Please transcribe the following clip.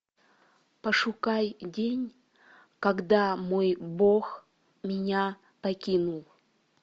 пошукай день когда мой бог меня покинул